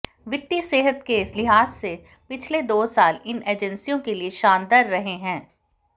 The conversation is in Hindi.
वित्तीय सेहत के लिहाज से पिछले दो साल इन एजेंसियों के लिए शानदार रहे हैं